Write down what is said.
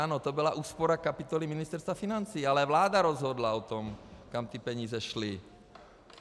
Ano, to byla úspora kapitoly Ministerstva financí, ale vláda rozhodla o tom, kam ty peníze šly.